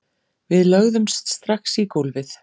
Við lögðumst strax í gólfið